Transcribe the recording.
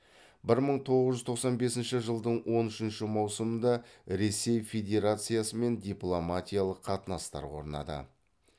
бір мың тоғыз жүз тоқсан бесінші жылдың он үшінші маусымында ресей федерациясымен дипломатиялық қатынастар орнады